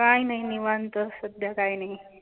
काही नाही निवांत सध्या काही नाही.